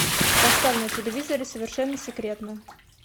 поставь на телевизоре совершенно секретно